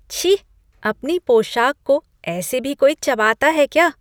छी! अपनी पोशाक को ऐसे भी कोई चबाता है क्या!!